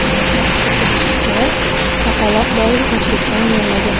Qayd etilishicha, chaqaloq doimo ochlikdan yig‘lagan.